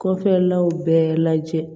Kɔfɛlaw bɛɛ lajɛ